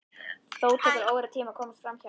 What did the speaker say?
Þó tekur óratíma að komast framhjá henni.